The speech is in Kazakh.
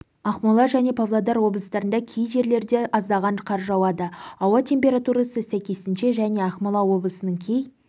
ақмола және павлодар облыстарында кей жерлерде аздаған қар жауады ауа температурасы сәйкесінше және ақмола облысының кей